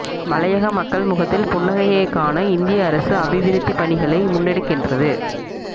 மலையக மக்கள் முகத்தில் புன்னகையை காண இந்திய அரசு அபிவிருத்தி பணிகளை முன்னெடுக்கின்றது